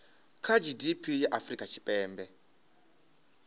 kha gdp ya afrika tshipembe